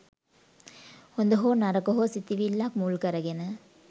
හොඳ හෝ නරක හෝ සිතිවිල්ලක් මුල් කරගෙන